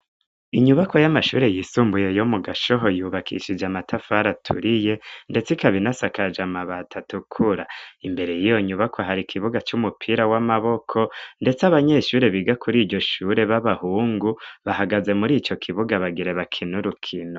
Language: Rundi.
Inyubakwa y'amashure yisumbuye yo mu Gashoho, yubakishije amatafari aturiye ndetse, ikaba inasakaje amabati atukura. Imbere y'iyo nyubakwa, hari ikibuga c'umupira w'amaboko ndetse, abanyeshure biga kuri iryo shure b'abahungu, bahagaze muri ico kibuga bagire bakine urukino.